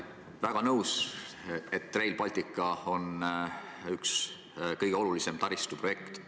Olen igati nõus, et Rail Baltic on üks kõige olulisemaid taristuprojekte.